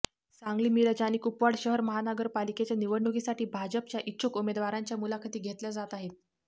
सांगली मिरज आणि कुपवाड शहर महानगरपालिकेच्या निवडणुकीसाठी भाजपाचा इच्छुक उमेदवारांच्या मुलाखती घेतल्या जात आहेत